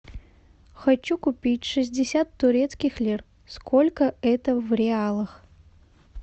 хочу купить шестьдесят турецких лир сколько это в реалах